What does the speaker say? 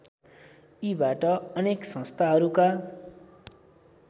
यीबाट अनेक संस्थाहरूका